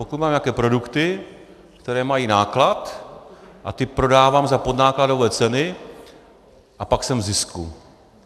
Pokud mám nějaké produkty, které mají náklad, a ty prodávám za podnákladové ceny, a pak jsem v zisku.